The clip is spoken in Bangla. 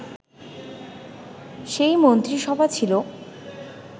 সেই মন্ত্রিসভা ছিল